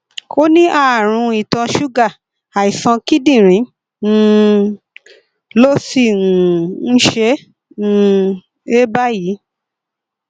ó ní ààrùn ìtọ ṣúgà àìsàn kíndìnrín um ló sì um ń ṣe um é báyìí